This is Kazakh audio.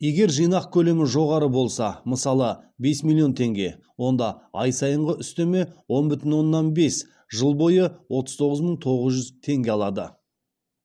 егер жинақ көлемі жоғары болса мысалы бес миллион теңге онда ай сайынғы үстеме он бүтін оннан бес жыл бойы отыз тоғыз мың тоғыз жүз теңге алады